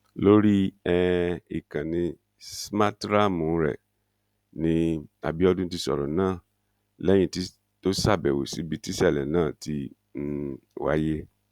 lórí um ìkànnì smarthraàmù rẹ̀ ni abiọdun ti sọ̀rọ̀ náà lẹ́yìn tó ṣàbẹ̀wò síbi tísẹ̀lẹ̀ náà ti um wáyé